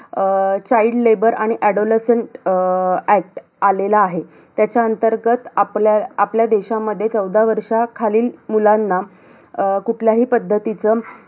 अं child labor आणि adolescent uh act आलेला आहे. त्याच्या अंतर्गत आपल्या आपल्या देशामध्ये चौदा वर्षा खालील मुलांना, अं कुठल्याही पद्धतीचं,